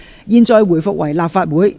現在回復為立法會。